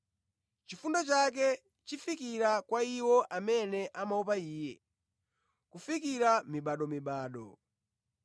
Chifundo chake chifikira kwa iwo amene amuopa Iye kufikira mibadomibado.